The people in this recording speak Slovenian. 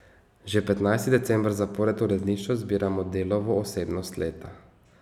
Že petnajsti december zapored v uredništvu izbiramo Delovo osebnost leta.